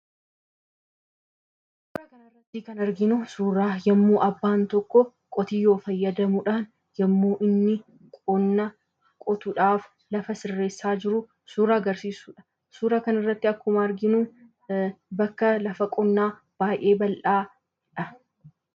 Asii gaditti kan arginu yommuu abbaan tokko qotiyyoo fayyadamuudhaan yommuu inni qonna qotuudhaaf lafa sirreessaa jiru suuraa agarsiisudha. Suuraa kanarratti akkuma arginu bakka lafa qonnaa baay'ee bal'aadha.